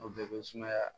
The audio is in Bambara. O bɛɛ bɛ sumaya